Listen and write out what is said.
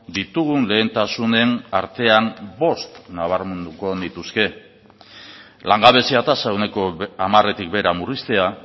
ditugun lehentasunen artean bost nabarmenduko nituzke langabezia tasa ehuneko hamaretik behera murriztea